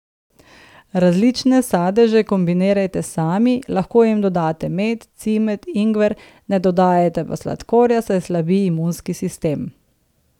Različne sadeže kombinirajte sami, lahko jim dodate med, cimet, ingver, ne dodajajte pa sladkorja, saj slabi imunski sistem.